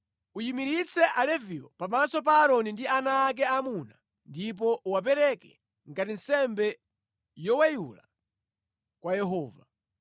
Uyimiritse Aleviwo pamaso pa Aaroni ndi ana ake aamuna ndipo uwapereke ngati nsembe yoweyula kwa Yehova.